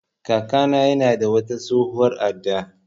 Kaka na ya na da wata tsohuwar adda